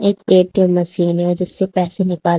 एक A T M machine है जिससे पैसे निकाल--